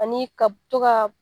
Ani ka to ka